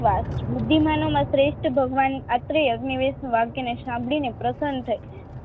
બુદ્ધીમાંનોમાં શ્રેષ્ઠ ભગવાન આત્રી અગ્ની વેદનું વાક્યને સાંભળીને પ્રસન્ન થઇ